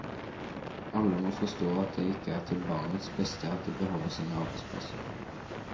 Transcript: Alle må forstå at det er til barnets beste at de beholder sine arbeidsplasser.